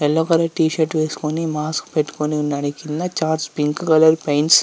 yellow colour T-shirt వేసుకొని mask పెట్టుకొని ఉన్నాడు.చాట్ పింక్ కలర్ పాంట్స్ --